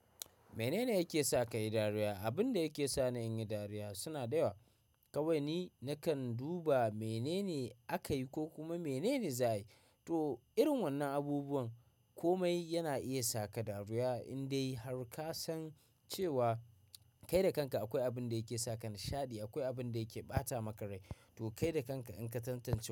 Menene yake sa kayi dariya? Abun da yake sa ni in yi dariya suna da yawa. Kawai ni nakan duba menene aka yi ko kuma menene za a yi. To irin wannan abubuwan komai yana iya saka dariya in dai har ka san cewa kai da kanka akwai abin da yake saka nishaɗi, akwai abin da yake ɓata maka rai. To kai da kanka in ka tantance wa.